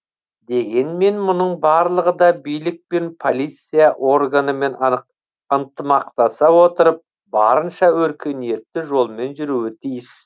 дегенмен мұның барлығы да билік пен полиция органымен ынтымақтаса отырып барынша өркениетті жолмен жүруі тиіс